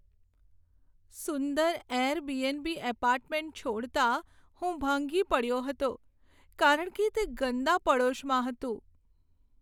સુંદર Airbnb apartment છોડતા હું ભાંગી પડ્યો હતો કારણ કે તે ગંદા પડોશમાં હતું.